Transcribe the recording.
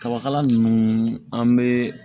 Kabakala ninnu an bɛ